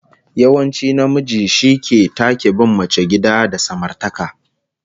Yawanci namiji shi take bin mace gida da samartaka